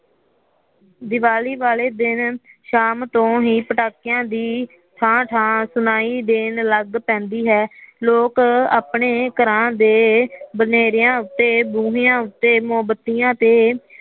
ਦੀਵਾਲੀ ਵਾਲੇ ਦਿਨ ਸ਼ਾਮ ਤੋਂ ਹੀ ਪਟਾਕਿਆ ਦੀ ਠਾਹ ਠਾਹ ਸੁਣਾਇ ਦੇਣ ਲਗ ਪੈਦੀ ਹੈ ਲੋਕ ਆਪਣੇ ਘਰਾਂ ਦੇ ਬਨੇਰਿਆਂ ਉੱਤੇ ਬੂਹਿਆਂ ਉੱਤੇ ਮੋਮਬੰਤਿਆ ਤੇ